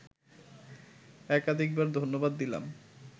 একাধিকবার ধন্যবাদ দিলাম